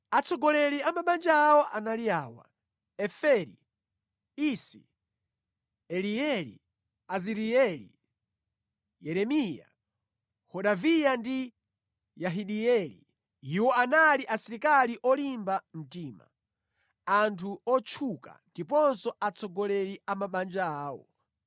Atsogoleri a mabanja awo anali awa: Eferi, Isi, Elieli, Azirieli, Yeremiya, Hodaviya ndi Yahidieli. Iwo anali asilikali olimba mtima, anthu otchuka, ndiponso atsogoleri a mabanja awo.